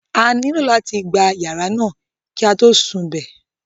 A nílò láti gba yàrá náà kí á tó sun I bè